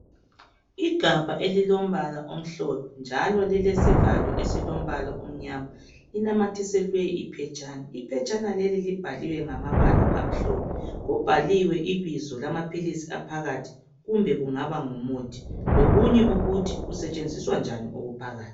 Igabha elilombala omhlophe njalo lilesivalo esilombala omnyama linamathiselwe iphetshana. Iphetshana leli libhaliwe ngamabala amhlophe. Kubhaliwe ibizo lamaphilisi aphakathi kumbe kungaba ngumuthi lokunye ukuthi kusetshenziswa njani okuphakathi.